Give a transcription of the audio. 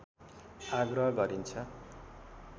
आग्रह गरिन्छ